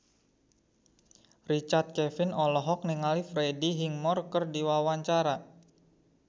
Richard Kevin olohok ningali Freddie Highmore keur diwawancara